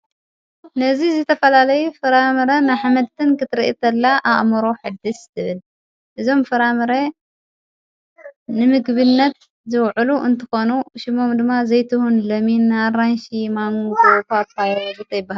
ነዝ ዘተፈላለይ ፍራምረ ኣሕመድትን ክትርኢ ተላ ኣኣምሮ ሕድስ ትብል እዞም ፍራምረ ንምግብነት ዘውዕሉ እንትኾኑ ሽሞም ድማ ዘይትሁን ለሚን ኣራንሽ ማንብ እኳ ኣጳይረዙ ይበሃሉ።